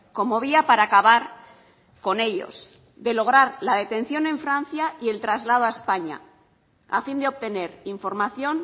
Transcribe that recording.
como vía para acabar con ellos de lograr la detención en francia y el traslado a españa a fin de obtener información